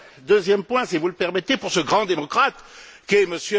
Deuxième point si vous le permettez, pour ce grand démocrate qu'est M.